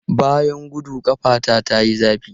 Bayan gudu, ƙafata ta yi zafi.